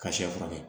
Ka sɛ furakɛ